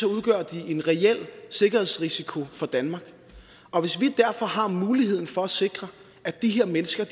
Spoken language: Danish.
udgør de en reel sikkerhedsrisiko for danmark og hvis vi derfor har muligheden for at sikre at de her mennesker